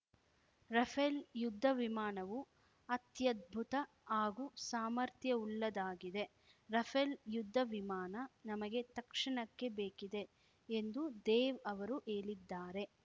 Rafale ಯುದ್ಧ ವಿಮಾನವು ಅತ್ಯದ್ಭುತ ಹಾಗೂ ಸಾಮರ್ಥ್ಯವುಳ್ಳದಾಗಿದೆ ರಫೇಲ್‌ ಯುದ್ಧ ವಿಮಾನ ನಮಗೆ ತಕ್ಷಣಕ್ಕೆ ಬೇಕಿದೆ ಎಂದು ದೇವ್‌ ಅವರು ಹೇಳಿದ್ದಾರೆ